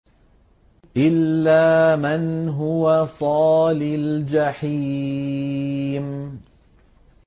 إِلَّا مَنْ هُوَ صَالِ الْجَحِيمِ